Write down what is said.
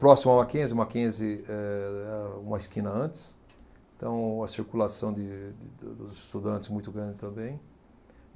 Próximo ao Mackenzie, o Mackenzie é uma esquina antes, então a circulação de de do dos estudantes muito grande também.